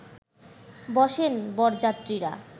বসেন বরযাত্রীরা